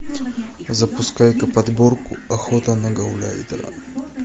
запускай ка подборку охота на гауляйтера